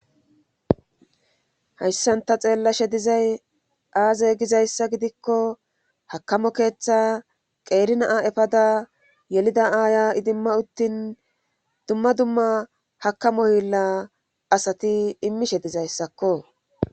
hayssan ta xeellashe dizay aaze gizayssa gidikko hakkamo keetha qeeri na7a efada yelida aaya idimma uttin dumma dumma hakkamo hiillaa asati immishe dizaysakko.